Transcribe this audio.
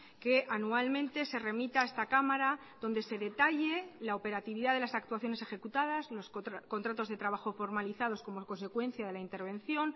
que anualmente se remita a esta cámara donde se detalle la operatividad de las actuaciones ejecutadas los contratos de trabajo formalizados como consecuencia de la intervención